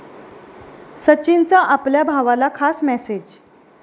सचिनचा आपल्या भावाला खास मेसेज